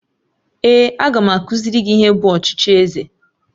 Èé, a ga m akụziri gị ihe bụ ọchịchị eze